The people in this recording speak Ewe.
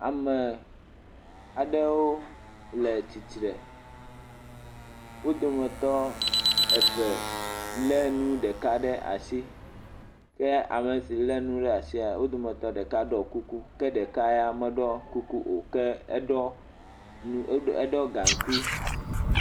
Ame aɖewo le tsitre, wo dometɔ eve le enu ɖeka ɖe asi, ke ame si le nu ɖe asia, wo dometɔ ɖeka ɖɔ kuku eye wo dometɔ ɖeka meɖɔ kuku. Ke eɖɔ nu gankui.